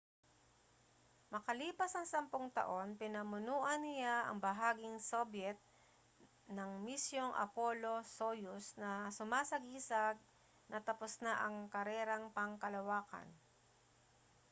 makalipas ang sampung taon pinamunuan niya ang bahaging sobyet ng misyong apollo-soyuz na sumasagisag na tapos na ang karerang pangkalawakan